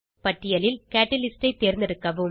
பட்டியலில் கேட்டலிஸ்ட் தேர்ந்தெடுக்கவும்